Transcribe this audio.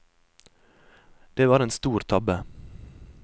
Det var en stor tabbe.